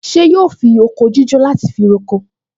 Ṣé yóò fi oko jíjó láti fi roko?